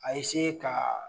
A eseye kaa